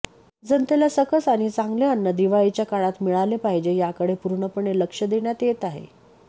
जनतेला सकस आणि चांगले अन्न दिवाळीच्या काळात मिळाले पाहिजे याकडे पूर्णपणे लक्ष देण्यात येत आहे